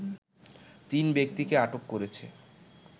তিন ব্যক্তিকে আটক করেছে